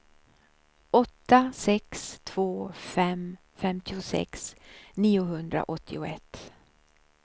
åtta sex två fem femtiosex niohundraåttioett